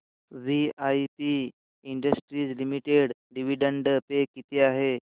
VIP industries limited dividend pay किती आहे